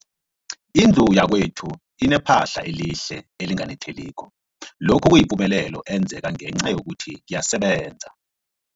Indlu yakwethu inephahla elihle, elinganetheliko, lokhu kuyipumelelo eyenzeke ngenca yokuthi ngiyasebenza.